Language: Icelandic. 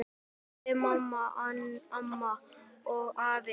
Mamma, pabbi, amma og afi.